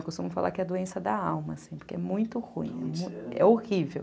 Eu costumo falar que é a doença da alma, assim, porque é muito ruim, é horrível.